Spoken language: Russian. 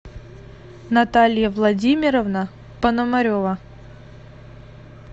наталья владимировна пономарева